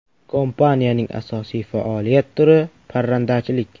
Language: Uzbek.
Kompaniyaning asosiy faoliyat turi parrandachilik.